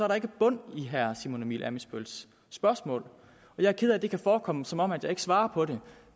der ikke bund i herre simon emil ammitzbølls spørgsmål jeg er ked af at det kan forekomme som om jeg ikke svarer på det